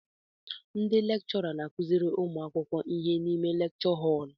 Ndị lekchọra n'akụziri ụmụ akwụkwọ ihe n'ime lekchọ họl